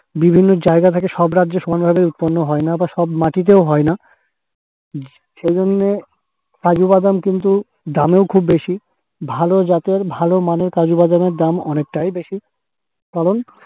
বিভিন্ন জায়গা থেকে সব রাজ্য সমান ভাবে উৎপন্ন হয় না বা সব মাটিতেও হয়না। সেইজন্যে কাজুবাদাম কিন্তু দামেও খুব বেশি । ভালো জাতের ভালো মানের কাজুবাদাম এর দাম অনেকটাই বেশি কারণ